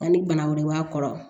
Ani bana wɛrɛ b'a kɔrɔ